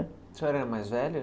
A senhora mais velha?